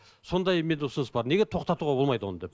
сондай менде ұсыныс бар неге тоқтатуға болмайды оны деп